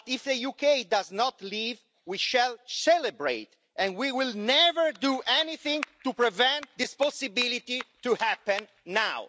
But if the UK does not leave we shall celebrate and we will never do anything to prevent this possibility from happening now.